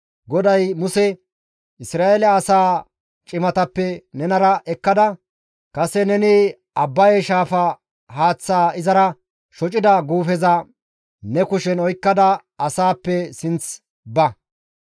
GODAY Muse, «Isra7eele asaa cimatappe nenara ekkada, kase neni Abbaye Shaafa haaththaa izara shocida guufeza ne kushen oykkada asaappe sinth ba.